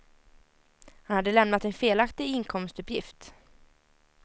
Han hade lämnat en felaktig inkomstuppgift.